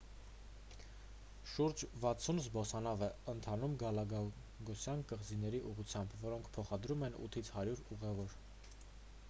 շուրջ 60 զբոսանավ է ընթանում գալապագոսյան կղզիների ուղղությամբ որոնք փոխադրում են 8-ից 100 ուղևոր